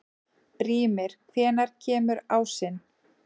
Brímir, hvenær kemur ásinn?